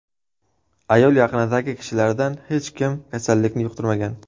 Ayol yaqinidagi kishilardan hech kim kasallikni yuqtirmagan.